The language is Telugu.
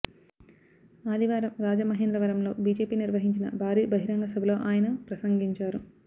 ఆదివారం రాజమహేంద్రవరంలో బిజెపి నిర్వహించిన భారీ బహిరంగ సభలో ఆయన ప్రసంగించారు